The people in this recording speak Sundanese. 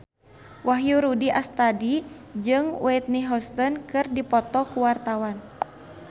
Wahyu Rudi Astadi jeung Whitney Houston keur dipoto ku wartawan